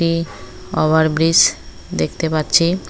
এই over bridge দেখতে পাচ্ছি।